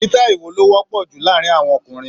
Sítáì wo ló wọ́pọ̀ jù láàárín àwọn ọkùnrin?